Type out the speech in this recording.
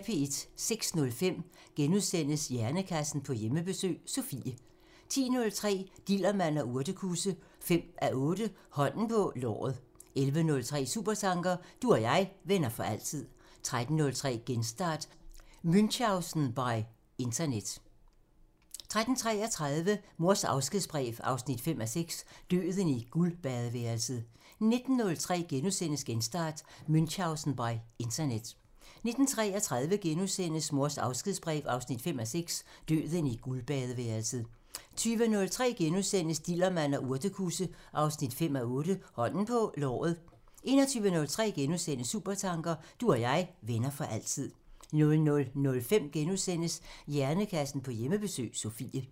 06:05: Hjernekassen på Hjemmebesøg – Sofie * 10:03: Dillermand og urtekusse 5:8 Hånden på låret 11:03: Supertanker: Du og jeg, venner for altid 13:03: Genstart: Münchausen by internet 13:33: Mors afskedsbrev 5:6 – Døden i guldbadeværelset 19:03: Genstart: Münchausen by internet * 19:33: Mors afskedsbrev 5:6 – Døden i guldbadeværelset * 20:03: Dillermand og urtekusse 5:8 Hånden på låret * 21:03: Supertanker: Du og jeg, venner for altid * 00:05: Hjernekassen på Hjemmebesøg – Sofie *